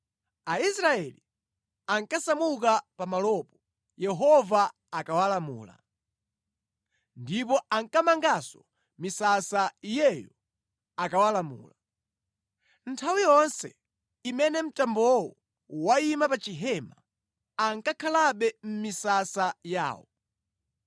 Aisraeli ankasamuka pamalopo Yehova akawalamula, ndipo ankamanganso misasa Iyeyo akawalamula. Nthawi yonse imene mtambowo wayima pa chihema, ankakhalabe mʼmisasa yawo.